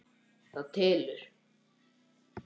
Það telur.